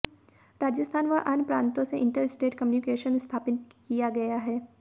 राजस्थान व अन्य प्रांतों से इंटर स्टेट कम्यूनिकेशन स्थापित किया गया है